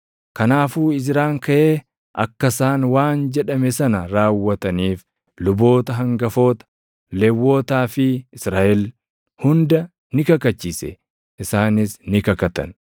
Kanaafuu Izraan kaʼee akka isaan waan jedhame sana raawwataniif luboota hangafoota, Lewwotaa fi Israaʼel hunda ni kakachiise; isaanis ni kakatan.